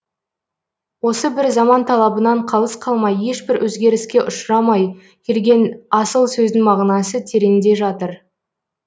осы бір заман талабынан қалыс қалмай ешбір өзгеріске ұшырамай келген асыл сөздің мағынасы тереңде жатыр